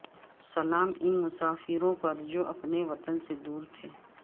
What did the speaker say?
سلام ان مسافروں پر جو اپنے وطن سے دور تھے